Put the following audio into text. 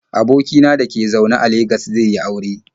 Aboki na da ke zaune a Legas zai yi aure.